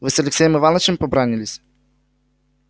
вы с алексеем иванычем побранились